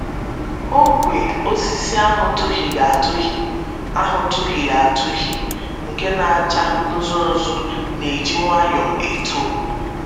Ogwe osisi ahụ tụhịrị atụhị ahụ tụhịrị atụhị nke na - acha nzu nzu na - eji nwayọọ eto.